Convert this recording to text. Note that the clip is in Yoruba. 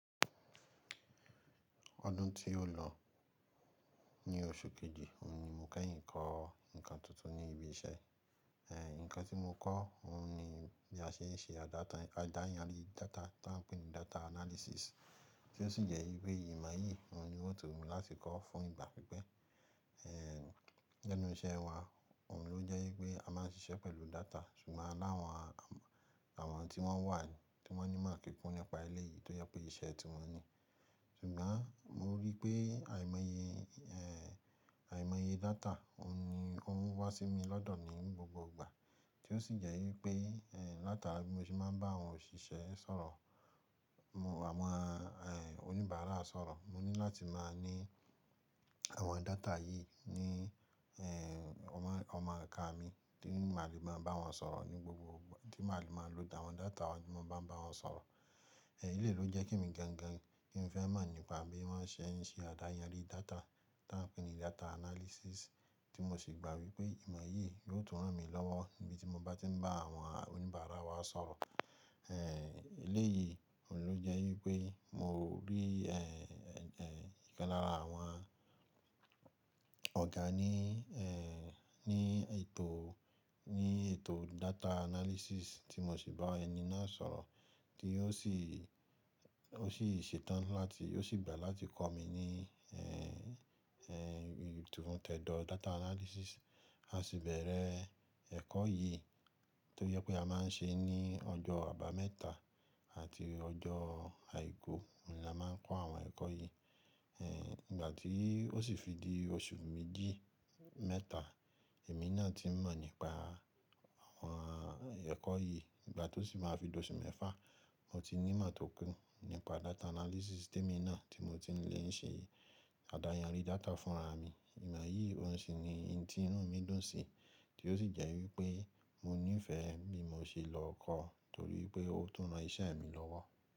Ọdún tí ó lọ ní oṣù kejì, òun ni mo kẹ́yìn kọ́ nǹkan tuntun ní ibi iṣẹ́. Ẹ̀, Nǹkan tí mo kọ́ òun ni bí a ṣe ń ṣe àdáyanrí data tá ń pè ní data analysis tí ó sì jẹ́ wípé ìmọ̀ yìí òun ni o ti wumí láti kọ́ fún ìgbà pípẹ́. Nínú iṣẹ́ wa òun ló jẹ́ wípé a máa ń ṣiṣẹ́ pẹ̀lú data ṣùgbọ́n aláwọn, àwọn tí wọ́n wà tí wọ́n ní ìmọ̀ kíkún nípa eléyìí tó jẹ́ pé iṣẹ́ tí wọ́n ní. Ṣùgbọ́n mo rí pé àìmọye, ẹ́, àìmọye data òun ni óuń wá sí mi lọ́dọ̀ ní gbogbo ìgbà tí ó sì jẹ́ wípé, ẹ́, látara bí mo ṣe máa ń bá àwọn òṣìṣẹ́ sọ̀rọ̀, àwọn ẹ́, oníbàárà sọ̀rọ̀. Mo ní láti máa ní àwọn data yìí ní, ẹ́, ọmọ, ọmọ ika mi tí maá lè máa bá wọn sọ̀rọ̀ ní gbogbo ìgbà, tí màá le máa lo àwọn data wọn tí mo bá ń bá wọn sọ̀rọ̀. Eléyìí ló jẹ́ ke mi gangan kí n fẹ́ mọ̀ nípa bí wọ́n ṣe ń ṣe àdáyanrí data tá ń pè ní data analysis tí mo sì gbà wípé ìmọ̀ yìí yóò tún ràn mí lọ́wọ́ níbi tí mo bá tí ń bá àwọn oníbàárà wa sọ̀rọ̀. Ẹ̀, Eléyìí òun ló jẹ́ wípé mo rí, ẹ́, ẹ́, ìkan lára àwọn ọ̀gá ní, ẹ́, ní ètò, ní ètò data analysis tí mo sì bá ẹni náà sọ̀rọ̀ tí ó sì, ó sì ṣetán láti, ó sì gbà láti kọ́ mi ní, ẹ́, ẹ́, tifun tẹ́dọ̀ data analysis. A sì bẹ̀rẹ̀ ẹ̀kọ́ yìí tó jẹ́ pé a máa ń ṣe ní ọjọ́ àbámẹ́ta àti ọjọ́ àìkú ni a máa ń kọ́ àwọn ẹ̀kọ́ yìí. Ẹ̀, Ìgbà tí ó sì fi di oṣù méjì, mẹ́ta èmi náà ti mọ̀ nípa àwọn ẹ̀kọ́ yìí. Ìgbà tó sì máa fi di oṣù mẹ́fà mo ti ní ìmọ̀ tó kún nípa data analysis tí èmi náà tí mo ti ń lè ń ṣe àdáyanrí data fúnra mi. Ìmọ̀ yìí òun sì ni eyí tí inú mi dùn sí tí ó sì jẹ́ wípé mo nífẹ̀ẹ́ bí mo ṣe lọ kọ́ torí pé ó tún ran iṣẹ́ mi lọ́wọ́